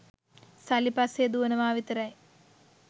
සල්ලි පස්සේ දුවනවා විතරයි